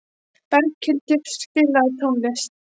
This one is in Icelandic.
Berghildur, spilaðu tónlist.